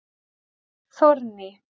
Þórný